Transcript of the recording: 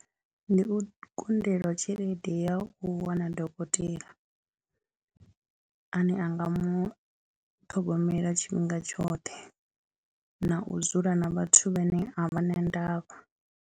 Ndi u kundelwa tshelede ya u wana dokotela ane a nga mu ṱhogomela tshifhinga tshoṱhe na u dzula na vhathu vhane a vha na ndavha.